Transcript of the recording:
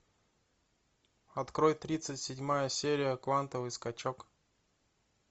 открой тридцать седьмая серия квантовый скачок